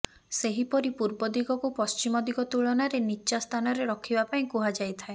ସେହିପରି ପୂର୍ବ ଦିଗକୁ ପଶ୍ଚିମ ଦିଗ ତୁଳନାରେ ନିଚ୍ଚା ସ୍ଥାନରେ ରଖିବା ପାଇଁ କୁହାଯାଇଥାଏ